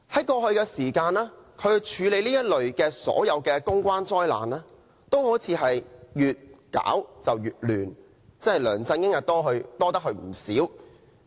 過去，他處理的所有公關災難都好像越做越亂，梁振英真的"多得佢唔少"。